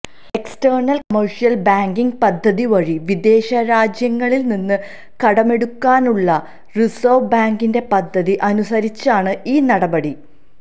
external commercial banking പദ്ധതി വഴി വിദേശരാജ്യങ്ങളില് നിന്ന് കടമെടുക്കാനുള്ള റിസര്വ് ബാങ്കിന്റെ പദ്ധതി അനുസരിച്ചാണ് ഈ നടപടി